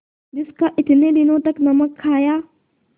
जिसका इतने दिनों तक नमक खाया